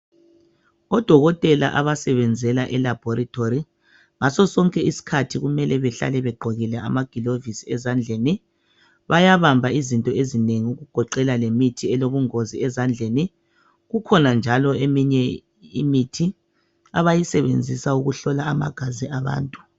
Odokotela abasebenzela e laboritory ngaso sonke isikhathi kumele bahlale begqokike amagilovisi ezandleni. Bayabamba izinto ezinengi ezigoqela lemithi elobungozi ezandleni , kukhona njalo eminye imithi abayisebenzisa ukuhlola amagazi abantu.